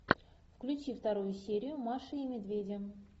включи вторую серию маши и медведя